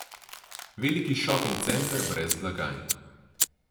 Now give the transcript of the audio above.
Veliki šoping center brez blagajn.